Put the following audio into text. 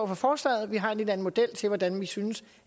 for forslaget vi har en lidt anden model til hvordan vi synes